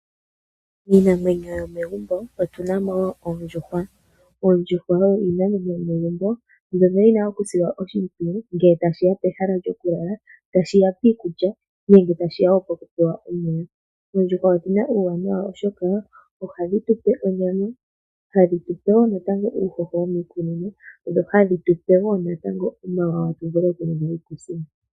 Iinamwenyo yomegumbo otunamo oondjuhwa. Oondjuhwa oyo iinamwenyo yomegumbo mbyoka yina okusilwa oshimpwiyu ngele tashiya pehala lyoku yelwa tashiya piikulya nenge tashiya woo poku pewa omeya. Oondjuhwa odhina uuwanawa oshoka ohadhi tupe onyama hadhi tupe woo natango uuhoho womiikunino dho hadhi tupe woo natango omawawa tu vule oku longa iikusiinga.